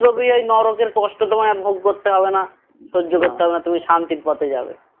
এই নরকের কষ্ট তোমায় আর ভোগ করতে হবে না সহ্য করতে হবে না তুমি শান্তির পথে যাবে